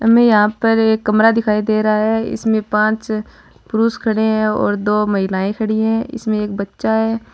हमे यहां पर एक कमरा दिखाई दे रहा है इसमें पांच पुरुष खड़े हैं और दो महिलाएं खड़ी है इसमें एक बच्चा है।